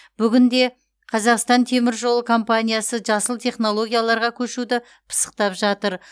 бүгінде қазақстан темір жолы компаниясы жасыл технологияларға көшуді пысықтап жатыр